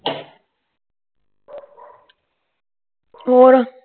ਹੋਰ